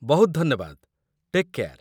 ବହୁତ ଧନ୍ୟବାଦ, take care.